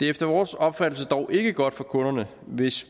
efter vores opfattelse dog ikke godt for kunderne hvis